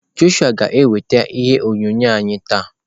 Joshua ga-eweta ihe onyonyo anyị taa.